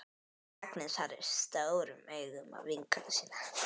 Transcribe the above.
Agnes horfir stórum augum á vinkonu sína.